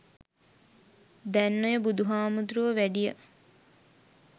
දැන් ඔය බුදු හාමුදුරුවො වැඩිය